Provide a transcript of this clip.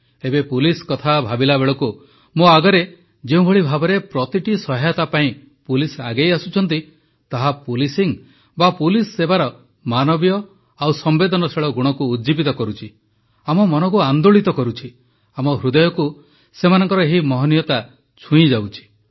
ଏବେ ପୁଲିସ କଥା ଭାବିବା ବେଳକୁ ମୋ ଆଗରେ ଯେଉଁଭଳି ଭାବେ ପ୍ରତିଟି ସହାୟତା ପାଇଁ ପୁଲିସ ଆଗେଇ ଆସୁଛନ୍ତି ତାହା ପୋଲିସିଂ ବା ପୁଲିସ ସେବାର ମାନବୀୟ ଓ ସମ୍ବେଦନଶୀଳ ଗୁଣକୁ ଉଜ୍ଜୀବିତ କରୁଛି ଆମ ମନକୁ ଆନ୍ଦୋଳିତ କରିଛି ଆମ ହୃଦୟକୁ ସେମାନଙ୍କର ଏହି ମହନୀୟତା ଛୁଇଁଯାଇଛି